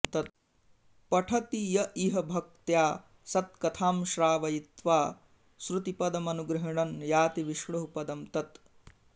पठति य इह भक्त्या सत्कथां श्रावयित्वा श्रुतिपदमनुगृह्णन् याति विष्णोः पदं तत्